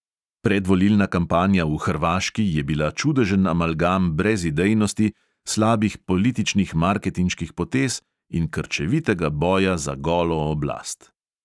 Predvolilna kampanja v hrvaški je bila čudežen amalgam brezidejnosti, slabih političnih marketinških potez in krčevitega boja za golo oblast.